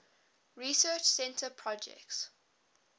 research center projects